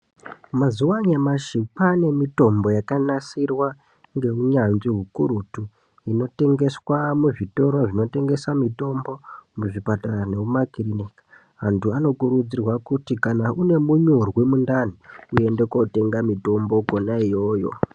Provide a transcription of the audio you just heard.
Mazuva anyamashi kwane mitombo yakanasirwa ngeunyanzvi ukurutu inotengeswa muzvitoro zvinotengeswa mitombo inotengesa mitombo muzvipatara nekumakiriniki antu anokurudzirwa kuti kana une munyurwi mukandani uende kundotenga mitombo Kona iyoyo.